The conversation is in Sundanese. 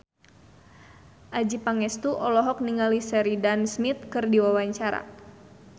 Adjie Pangestu olohok ningali Sheridan Smith keur diwawancara